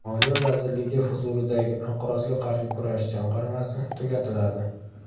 Moliya vazirligi huzuridagi Inqirozga qarshi kurashish jamg‘armasi tugatiladi.